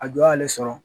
A jɔ y'ale sɔrɔ